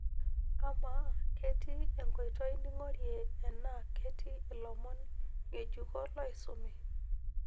amaa ketii enkoitoi ning'orie enaa ketii ilomon ng'ejuko loisumi